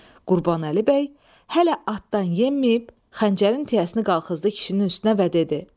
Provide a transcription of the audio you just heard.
Qurbanəli bəy hələ atdan enməyib xəncərin tiyəsini qalxızdı kişinin üstünə və dedi: